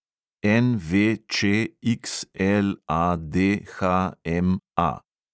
NVČXLADHMA